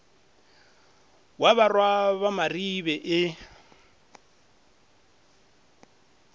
wa barwa ba maribe e